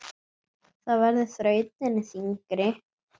Það verður þrautin þyngri.